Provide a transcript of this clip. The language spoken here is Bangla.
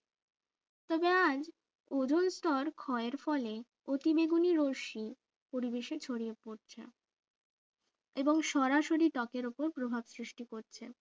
তো যাই ওজোন স্তর ক্ষয়ের ফলে অতিবেগুনি রশ্মি পরিবেশে ছড়িয়ে পড়ছে এবং সরাসরি ত্বকের উপর প্রভাব সৃষ্টি করছে